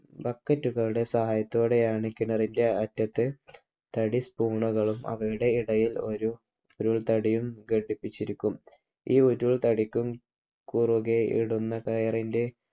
BUCKET കളുടെ സഹായത്തോടെയാണ് കിണറിൻ്റെ അറ്റത്ത് തടി സ്പൂണുകളും അവയുടെ ഇടയിൽ ഒരു തടിയും ഘടിപ്പിച്ചിരിക്കും. ഈ ഓരോ തടിക്കും കുറുകെ ഇടുന്ന കയറിൻ്റെ